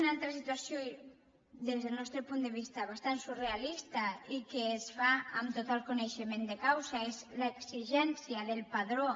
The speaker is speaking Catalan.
una altra situació des del nostre punt de vista bastant surrealista i que es fa amb tot el coneixement de causa és l’exigència del padró